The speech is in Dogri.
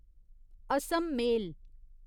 असम मेल